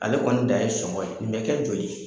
Ale kɔni dan ye sɔngɔn ye, nin bɛ kɛ joli?